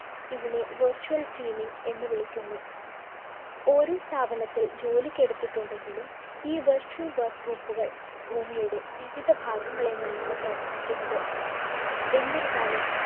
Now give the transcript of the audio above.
ഇതിനെ virtual teaming എന്നു വിളിക്കുന്നു. ഒരേ സ്ഥാപനത്തില്‍ ജോലിക്കെടുത്തിട്ടുണ്ടെങ്കിലും, ഈ virtual work group കള്‍ ഭൂമിയുടെ വിവിധ ഭാഗങ്ങളിൽ നിന്നാണ് പ്രവര്‍ത്തിക്കുന്നത്. എന്നിരുന്നാലും